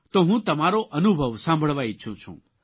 તો હું તમારો અનુભવ સાંભળવા ઇચ્છું છું